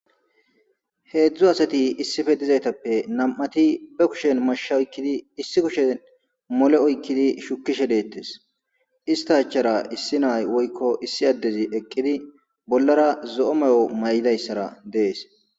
Heedzdzu asati issife dizaytappe nam7ati be kushen mashsh oykkidi issi kushen mole oykkidi shukishe deettes ista achara issi nay woykko issi addezi eqqidi bollara zo7o may7o may'dayssara dees.